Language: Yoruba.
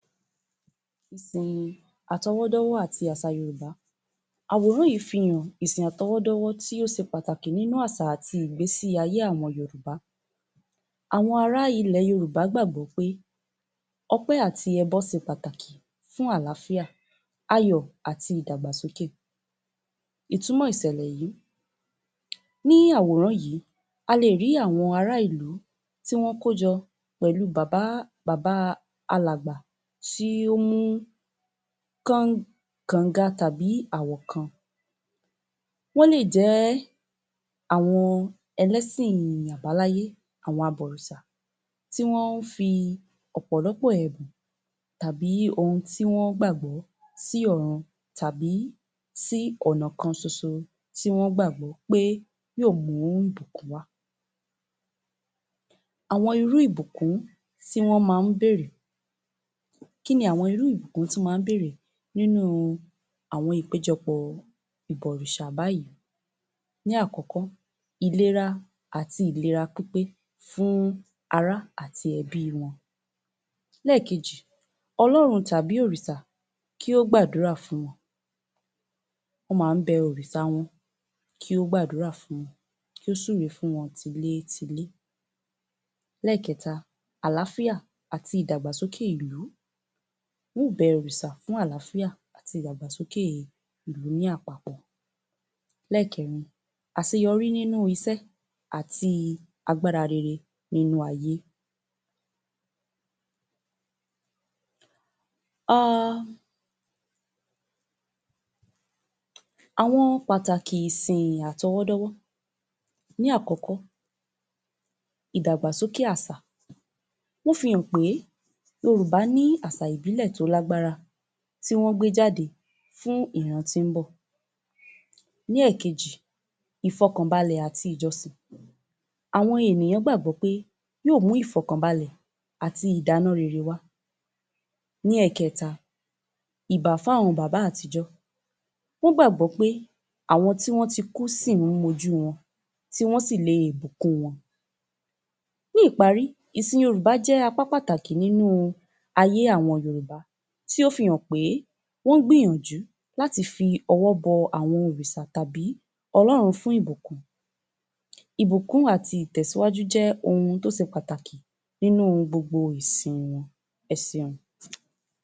Ìsìn àtọwọ́dọ́wọ́ àti àsà Yorùbá. Àwòrán yìí fi hàn, ìsìn àtọwọ́dọ́wọ́ tí ó se pàtàkì nínú àsà àti ìgbésí ayé àwọn Yorùbá. Àwọn ará ilẹ̀ Yorùbá gbàgbọ́ pé ọpẹ́ àti ẹbọ se pàtàkì fún àlàáfíà, ayọ̀, àti ìdàgbàsókè. Ìtumọ̀ ìsẹ̀lẹ̀ yìí, ní àwòrán yìí, a lè rí àwọn ará ìlú tí wọ́n kójọ pẹ̀lú bàbá, bàbá alàgbà tí ó mú kọ̀nga tàbí àwọ̀kan. Wọ́n lè jẹ́ àwọn ẹlẹ́sìn àbáláyé, àwọn abọ̀rìṣà tí wọ́n ń fi ọ̀pọ̀lọpọ̀ ẹ̀bùn tàbí ohun tí wọ́n gbàgbọ́ tí ọrùn tàbí tí ọ̀nà kan ṣoṣo tí wọ́n gbàgbọ́ pé yóò mú ìbùkún wá. Àwọn irú ìbùkún tí wọ́n máa ń béèrè, kí ni àwọn ìbùkún tí wọ́n máa ń béèrè nínú àwọn ìpéjọpọ̀ ìbọ̀rìṣà báyìí. Ní àkọ́kọ́, ìlera àti ìlera pípé fún ará àti ẹbí wọn. Lẹ́ẹ̀kejì, Ọlọ́run tàbí òrìsà kí ó gbàdúrà fún wọn. Wọ́n ma ń bẹ òrìṣà wọn kí ó gbàdúrà fún wọn, kí ó súre fún tilétilé. Lẹ́ẹ̀kẹ́ta, àlàáfíà àti ìdàgbàsókè ìlú, wọ́n ò bẹ òrìsà fún àlàáfíà àti ìdàgbàsókè ìlú ní àpapọ̀. Lẹ́ẹ̀kẹ́rin, àseyọrí nínú isẹ́ àti agbára rere nínú ayé. um àwọn pàtàkì ìsìn àtọwọ́dọ́wọ́ Ní àkọ́kọ́, ìdàgbàsókè àsà. Wọ́n fi hàn pé Yorùbá ní àsà ìbílẹ̀ tó lágbára, tí wọ́n gbé jáde fún ìran tín-ín bọ̀. Ní èkejì, ìfọkànbalẹ̀ àti ìjọsìn. Àwọn ènìyàn gbàgbọ́ pé yóò mú ìfọkànbalẹ̀ àti ìdánú rere wá. Ní ẹ̀kẹ́ta, ìbà fún àwọn bàbá àtijọ́. Wọ́n gbàgbọ́ pé àwọn tí wọ́n ti kú sì ń mọjú wọn. Tí wọ́n sìle bùkún wọn. Ní ìparí, ìsìn Yorùbá jẹ́ apá pàtàkì nínú ayé àwọn Yorùbá tí ó fi hàn pé, wọ́n gbìyànjú láti fi ọwọ́ bọ àwọn òrìsà tàbí Ọlọ́run fún ìbùkún. Ìbùkún àti ìtẹ̀síwájú jẹ́ ohun tó ṣe pàtàkì nínú ohun gbogbo ìsìn wọn. Ẹ seun